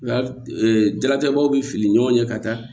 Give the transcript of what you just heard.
jalatigɛ baw bi fili ni ɲɔgɔn ye ka taa